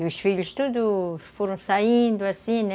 E os filhos todos foram saindo assim, né?